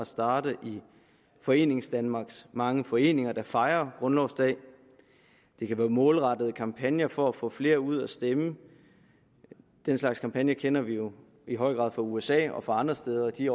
starte i foreningsdanmarks mange foreninger der fejrer grundlovsdag det kan være målrettede kampagner for at få flere ud at stemme den slags kampagner kender vi jo i høj grad fra usa og andre steder og de